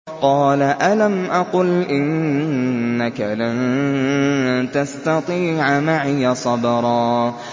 قَالَ أَلَمْ أَقُلْ إِنَّكَ لَن تَسْتَطِيعَ مَعِيَ صَبْرًا